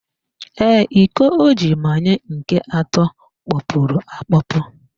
Ee, iko o ji manye nke atọ kpọpuru akpọpu